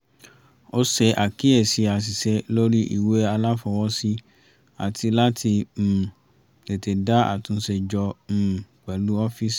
ó ṣe àkíyèsi àṣìṣe lórí ìwé aláfọwọ́sí àti láti um tètè dá àtúnṣe jọ um pẹ̀lú ọ́fíìsì